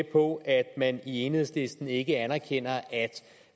på at man i enhedslisten ikke anerkender at